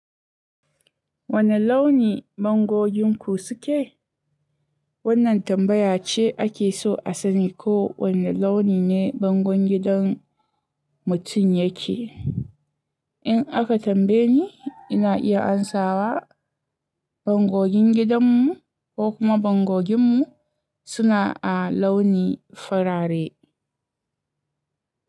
Wane launi bangogin ku suke? Wannan tambaya ce ake so a sani ko wane launi ne bangon gidan mutum yake. In aka tambaye ni, ina iya amsawa bangogin gidanmu ko kuma bangoginmu suna a launi farare.